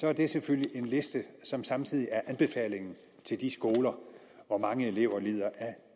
er det selvfølgelig en liste som samtidig er anbefalingen til de skoler hvor mange elever lider af